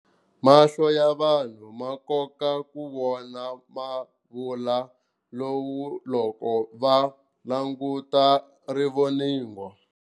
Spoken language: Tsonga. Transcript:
Mahlo ya vanhu ma kota ku vona mavula lowu loko va languta rivoningo.